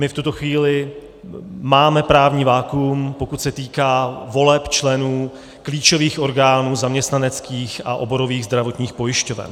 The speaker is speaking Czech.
My v tuto chvíli máme právní vakuum, pokud se týká voleb členů klíčových orgánů zaměstnaneckých a oborových zdravotních pojišťoven.